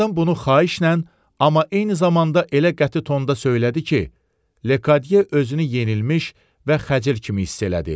Qadın bunu xahişlə, amma eyni zamanda elə qəti tonda söylədi ki, Lekadye özünü yenilmiş və xəcil kimi hiss elədi.